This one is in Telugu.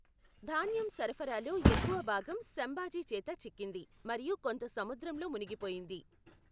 ధాన్యం సరఫరాలో ఎక్కువ భాగం శంభాజీ చేత చిక్కింది మరియు కొంత సముద్రంలో మునిగిపోయింది.